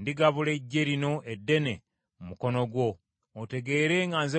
ndigabula eggye lino eddene mu mukono gwo, otegeere nga nze Mukama .’”